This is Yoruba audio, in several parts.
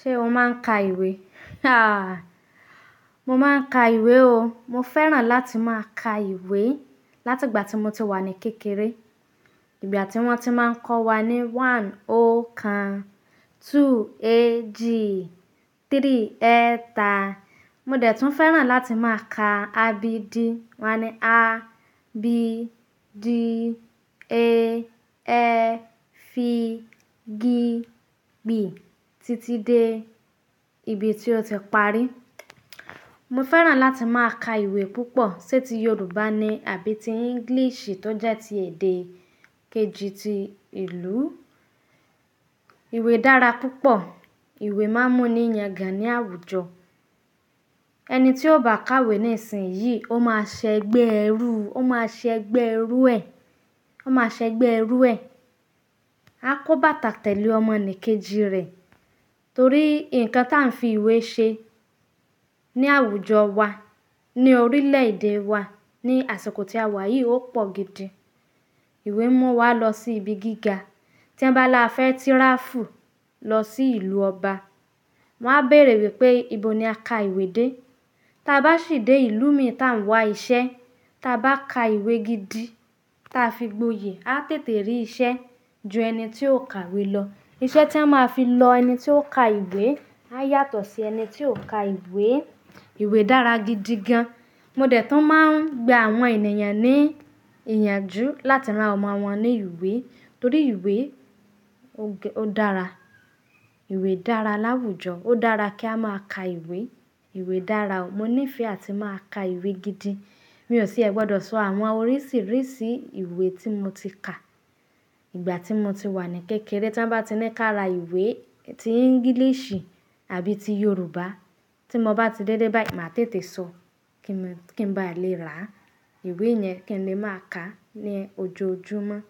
Ṣé o máa ń ka ìwé? Mo máa ń ka ìwé o. Mo fẹ́ràn láti máa ka ìwé láti ìgbà tí mo ti wà ní kékeré. Ìgbà tí wọ́n ti máa ń kọ́ wa ní one ọkàn, two èjì, three ẹ̀ta. Mo dẹ̀ tun fẹ́ràn láti máa ka a b D. Wọ́n ni a, B, d, e, f, G, B títí dé ibi tí ó ti parí. Mo fẹ́ràn láti máa ka ìwé púpọ̀, sé ti Yorùbá ni àbí ti English, tọ já ti èdè kejì ti ìlú. Ìwé dára púpọ̀. Ìwé máa ń mú ni yangan ní àwùjọ. Ẹni tí ó bá kàwé ní ìsìn yìí, ó máa ṣẹgbẹ́ ẹrú, ó máa ṣẹgbẹ́ ẹrú ẹ. Ó máa ṣẹgbẹ́ ẹrú ẹ. A kó bàtà tẹ̀lé ọmọ nì kejì rẹ̀. Torí nǹkan tà ń fi ìwé ṣe ní àwùjọ wa, ní orílẹ̀ èdè wa, ní àsìkò tí a wà yìí ó pọ̀ gidi. Ìwé mú wa lọ sí ibi gíga. Tí ẹ̀ bá lá fẹ́ tìráfù lọ sí ìlú ọba, wọ́n á bèèrè wípé, "Ibo ni a ka ìwé dé?" Ta bá ṣì dé ìlú mìí tá ń wá iṣẹ́, ta bá ka ìwé gidi tá fi gboyè, a tètè rí iṣẹ́ ju ẹni tí ò ka ìwé lọ. Iṣẹ́ tí a máa fi lọ ẹni tí ó ka ìwé, a yàtọ̀ sí ẹni tí ò ka ìwé. Ìwé dára gidi gan. Mo dẹ̀ tun máa ń gba àwọn ènìyàn ní ìyànjú láti rán ọmọ wọn ní ìwé, torí ìwé ó dára. Ìwé dára láwùjọ. Ó dára kí a máa ka ìwé. Ìwé dára o. Mo nífẹ̀ẹ́ àti máa ka ìwé gidi. Mi ò tìẹ gbọdọ̀ sọ àwọn oríṣìíríṣìí ìwé tí mo ti ka, ìgbà tí mo ti wà ní kékeré. Tọ́ n bá ti ní ká ra ìwé tí English àbí ti Yorùbá, tí mo bá ti délé báyìí, màá tètè sọ kí n ba lè rà. Ìwé yẹn kí n lè máa ka ní ojoojúmọ́.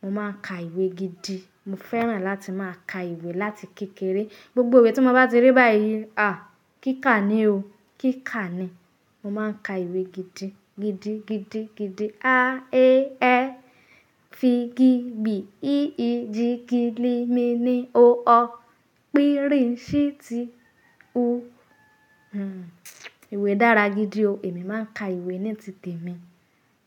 Mo máa ka ìwé gidi. Mo fẹ́ràn láti máa ka ìwé láti kékeré. Gbogbo ìwé tí mo bá ti rí báyìí, à kíkà ni o. Kíkà ni. Mo máa ń ka ìwé gidi, gidi, gidi, gidi. A, e, f, G, B, i, e, j, K, l, m, n, o, p, R, s, T, u. Hmm. Ìwé dára gidi o. Èmi máa ń ka ìwé ní tì tẹ mi.